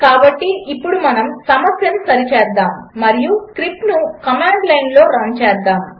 కాబట్టి ఇప్పుడు మనము సమస్యను సరిచేద్దాము మరియు స్క్రిప్ట్ను కమాండ్ లైన్లో రన్ చేద్దాము